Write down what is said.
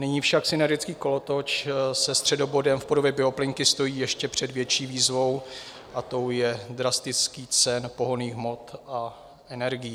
Nyní však synergický kolotoč se středobodem v podobě bioplynky stojí ještě před větší výzvou, a tou je drastický cen pohonných hmot a energií.